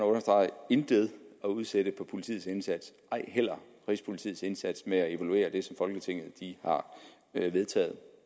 understrege intet at udsætte på politiets indsats ej heller rigspolitiets indsats med at evaluere det som folketinget har vedtaget